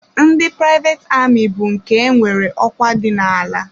Ndị privet ami bụ nke nwere ọkwa dị ala.